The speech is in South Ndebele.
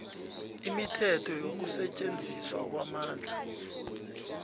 imithetho yokusetjenziswa kwamandla